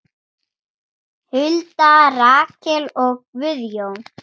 Hulda, Rakel og Guðjón.